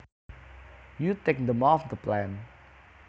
you take them off the plant